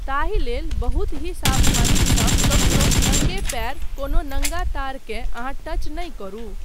ताहि लेल बहुत ही सावधानीसँ कखनो नंगे पयर कोनो नङ्गा तारकेँ अहाँ टच नहि करू।